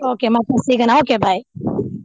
Okay ಮತ್ತೆ ಸಿಗೋನಾ okay bye .